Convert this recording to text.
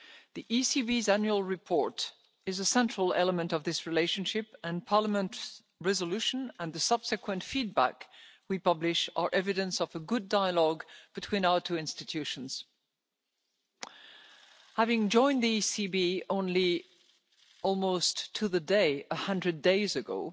The ECB's Annual Report is a central element of this relationship, and Parliament's resolution and the subsequent feedback we publish are evidence of the good dialogue between our two institutions. Having only joined the ECB almost to the day 100 days ago,